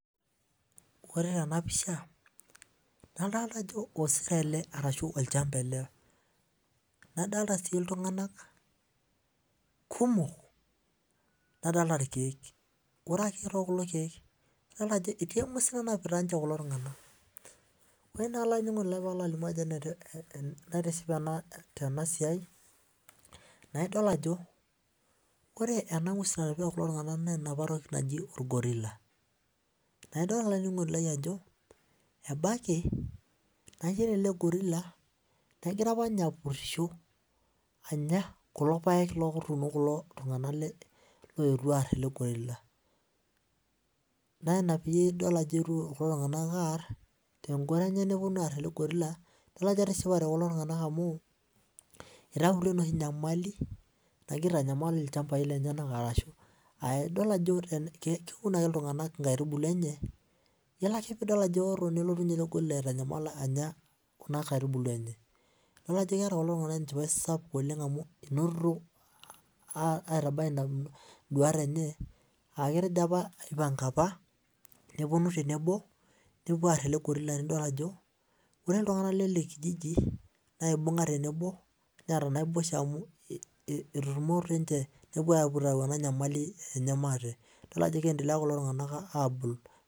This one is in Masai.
Ore tenapisha adolita ajo osero ele ashu olchamba ele nadolita ltunganak kumok nadolita irkiek ore kulo kiek adolta ajo etii etii entoki nanapita kulo tunganak ore entoki naitoship tenasiai naidol ajo ore enangwes nanapita kulo tunganak meenapa toki naji orgorila naidol olaininingoni lai ajo ebaki ore elegorila negira apa ninye apurisho ebaki negira anya kulo paek lekulo tunganak ogira aar elegorilla na ina peidiol ajo egira ltunganak aar elegorila tengoro amu itautuo enoshi nyamali nagira aitanyamal keun ame ltunganak nkaitubulu enye ore pidol ajo eoto nelotu elegorila aitanyamal anya nkaitubulu enye idol ajo keeta kulo tunganak enchipae inotito aitaduaya nduata enye aipanga apa tenebo nepuo aar elegorila ore ltunganak lenakijji na keeta naboisho eitutimo ninche nepuo atum enanyamali aate